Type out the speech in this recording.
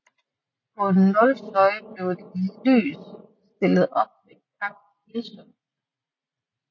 På Nólsoy blev et lys stillet op ved Kápilsund